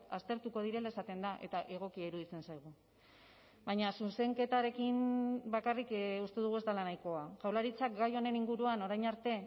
aztertuko direla esaten da eta egokia iruditzen zaigu baina zuzenketarekin bakarrik uste dugu ez dela nahikoa jaurlaritzak gai honen inguruan orain arte